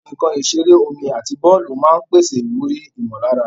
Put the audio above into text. Àwọn nkan ìṣeré omi àti bọ́ọ̀lù máa ń pèsè ìwúrí ìmọ̀lára.